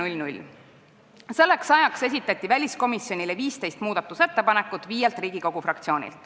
Selleks ajaks esitasid viis Riigikogu fraktsiooni väliskomisjonile 15 muudatusettepanekut.